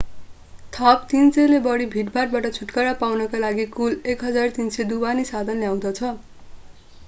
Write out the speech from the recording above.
थप 300 ले बढि भीडभाडबाट छुटकारा पाउनका लागि कुल 1300 ढुवानी साधन ल्याउँदछ